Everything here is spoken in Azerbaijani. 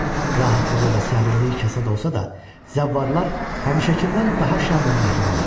Rahatlığı və sərinliyi kasad olsa da, zəvvarlar həmişəkindən daha şən və mehriban idilər.